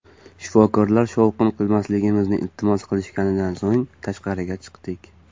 Shifokorlar shovqin qilmasligimizni iltimos qilishganidan so‘ng tashqariga chiqdik.